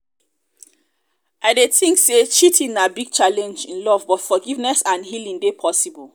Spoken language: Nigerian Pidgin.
i dey think say cheating na big challenge in love but forgiveness and healing dey possible.